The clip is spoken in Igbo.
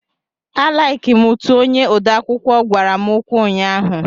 A laiki m utu onye odeakwụkwọ gwara m okwu ụnyaahụ.